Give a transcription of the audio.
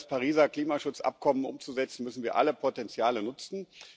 Um das Pariser Klimaschutzabkommen umzusetzen, müssen wir alle Potenziale nutzen.